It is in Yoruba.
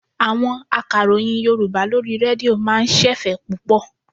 Àwọn akàròyìn Yorùbá lórí rédíò máa ń ṣẹ̀fẹ̀ púpọ̀.